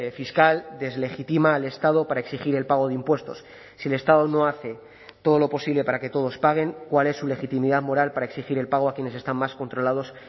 fiscal deslegitima al estado para exigir el pago de impuestos si el estado no hace todo lo posible para que todos paguen cuál es su legitimidad moral para exigir el pago a quienes están más controlados